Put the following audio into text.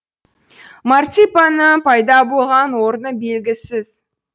марципанның пайда болған орны белгісіз